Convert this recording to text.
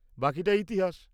-বাকিটা ইতিহাস।